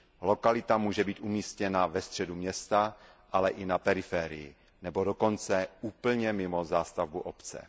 Lokalita může být umístěna ve středu města, ale i na periferii nebo dokonce úplně mimo zástavbu obce.